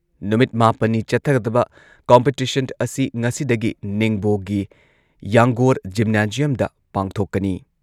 ꯅꯨꯃꯤꯠ ꯃꯥꯄꯟꯅꯤ ꯆꯠꯊꯒꯗꯕ ꯀꯣꯝꯄꯤꯇꯤꯁꯟ ꯑꯁꯤ ꯉꯁꯤꯗꯒꯤ ꯅꯤꯡꯕꯣꯒꯤ ꯌꯥꯡꯒꯣꯔ ꯖꯤꯝꯅꯥꯖꯤꯌꯝꯗ ꯄꯥꯡꯊꯣꯛꯀꯅꯤ꯫